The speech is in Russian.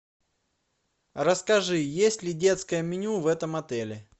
расскажи есть ли детское меню в этом отеле